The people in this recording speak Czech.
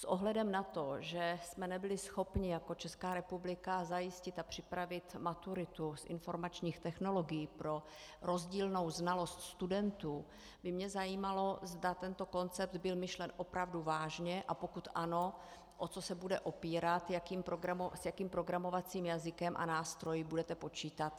S ohledem na to, že jsme nebyli schopni jako Česká republika zajistit a připravit maturitu z informačních technologií pro rozdílnou znalost studentů, by mě zajímalo, zda tento koncept byl myšlen opravdu vážně, a pokud ano, o co se bude opírat, s jakým programovacím jazykem a nástroji budete počítat.